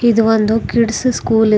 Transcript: ಇದು ಒಂದು kids school ಇದೆ.